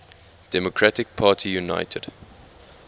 democratic party united